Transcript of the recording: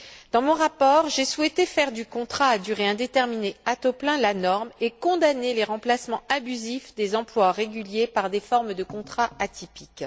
Dans mon rapport, j'ai souhaité faire du contrat à durée indéterminée à taux plein la norme et condamner les remplacements abusifs des emplois réguliers par des formes de contrats atypiques.